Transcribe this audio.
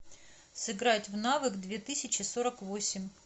сыграть в навык две тысячи сорок восемь